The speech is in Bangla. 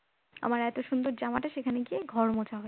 আমার এত সুন্দর জামাটা সেখানে গিয়ে ঘর মোছা হয়ে যায়